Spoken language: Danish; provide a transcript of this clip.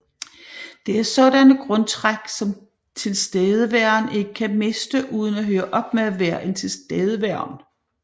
Det er sådanne grundtræk som tilstedeværen ikke kan miste uden at høre op med at være en tilstedeværen